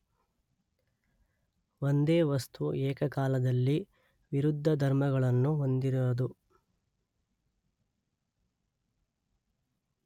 ಒಂದೇ ವಸ್ತು ಏಕಕಾಲದಲ್ಲಿ ವಿರುದ್ಧ ಧರ್ಮಗಳನ್ನು ಹೊಂದಿರದು.